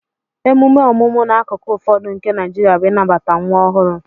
Emume ọmụmụ n'akụkụ ụfọdụ nke Naijiria bụ ịnabata nwa ọhụrụ